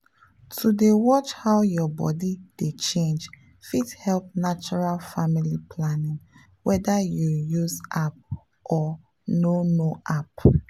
to dey watch how your body dey change fit help natural family planning whether you use app or no no app.